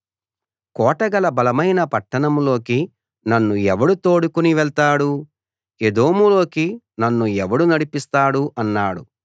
కోటగల బలమైన పట్టణంలోకి నన్ను ఎవడు తోడుకుని వెళ్తాడు ఎదోములోకి నన్ను ఎవడు నడిపిస్తాడు అన్నాడు